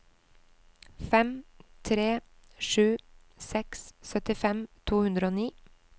fem tre sju seks syttifem to hundre og ni